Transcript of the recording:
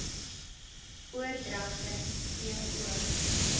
oordragte t o